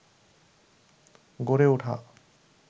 গড়ে ওঠা